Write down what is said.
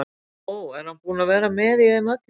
Ó, er hann búinn að vera með í þeim öllum?